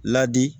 Ladi